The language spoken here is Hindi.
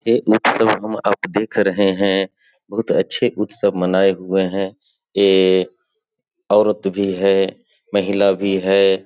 ये उत्सव दिख रहे हैं बहुत अच्छे उत्सव मनाए हुए हैं एक औरत भी है महिला भी है।